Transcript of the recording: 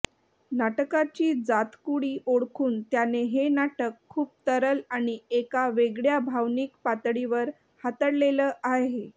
नाटकाची जातकुळी ओळखून त्याने हे नाटक खूप तरल अणि एका वेगळ्या भावनिक पातळीवर हातळलेलं आहे